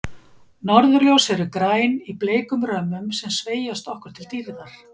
Norðurljós eru græn, í bleikum römmum sem sveigjast okkur til dýrðar.